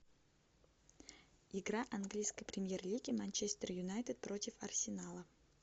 игра английской премьер лиги манчестер юнайтед против арсенала